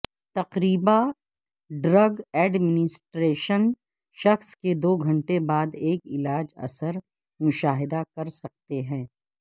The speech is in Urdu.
تقریبا ڈرگ ایڈمنسٹریشن شخص کے دو گھنٹے بعد ایک علاج اثر مشاہدہ کر سکتے ہیں